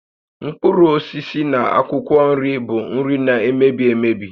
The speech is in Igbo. Mkpụrụ osisi na akwụkwọ nri bụ nri na-emebi emebi